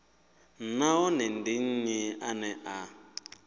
nahone ndi nnyi ane a